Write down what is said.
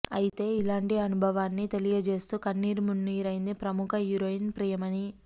అయితే ఇలాంటి అనుభవాన్ని తెలియజేస్తూ కన్నీరు మున్నీరైంది ప్రముఖ హీరోయిన్ ప్రియమణి